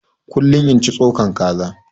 Kullum in cin tsokan kaza